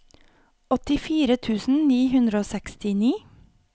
åttifire tusen ni hundre og sekstini